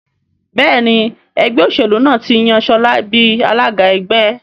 Béèni Ẹgbẹ́ òṣèlú náà tí yàn Shola bí alága ẹgbẹ́.